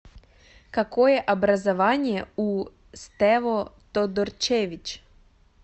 какое образование у стево тодорчевич